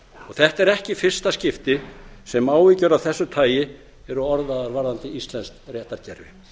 þetta er ekki í fyrsta skipti sem áhyggjur af þessu tagi eru orðaðar varðandi íslenskt réttarkerfi